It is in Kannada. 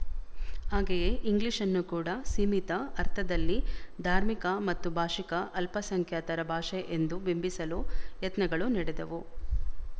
ಹಾಗೆಯೇ ಇಂಗ್ಲಿಶ್‌ನ್ನು ಕೂಡ ಸೀಮಿತ ಅರ್ಥದಲ್ಲಿ ಧಾರ್ಮಿಕ ಮತ್ತು ಭಾಶಿಕ ಅಲ್ಪಸಂಖ್ಯಾತರ ಭಾಷೆ ಎಂದು ಬಿಂಬಿಸಲು ಯತ್ನಗಳು ನಡೆದವು